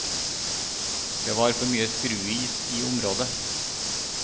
Det var for mye skruis i området.